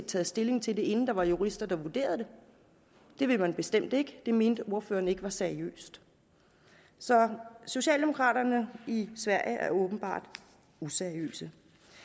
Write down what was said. taget stilling til det inden der var jurister der havde vurderet det det vil man bestemt ikke det mente ordføreren ikke var seriøst så socialdemokraterna i sverige er åbenbart useriøse